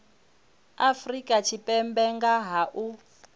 afrika tshipembe nga ha u